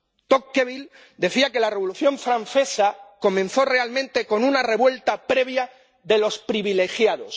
Tocqueville decía que la Revolución francesa comenzó realmente con una revuelta previa de los privilegiados.